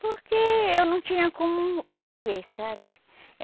Porque eu não tinha como viver, sabe?